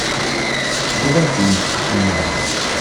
врубай фильмик миллиарды